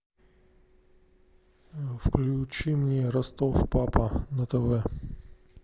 включи мне ростов папа на тв